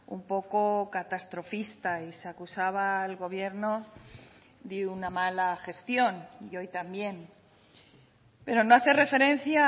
un poco catastrofista y se acusaba al gobierno de una mala gestión y hoy también pero no hace referencia a